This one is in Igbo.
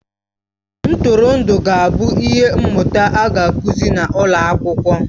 Ntụrụndụ ga-abụ ihe mmụta a ga-akụzi n'ụlọ akwụkwọ